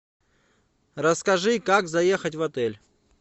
расскажи как заехать в отель